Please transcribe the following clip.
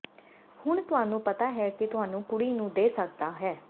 ਹੁਣ ਤੁਹਾਨੂੰ ਪਤਾ ਹੈ ਕਿ ਤੁਹਾਨੂੰ ਕੁੜੀ ਨੂੰ ਦੇ ਸਕਦਾ ਹੈ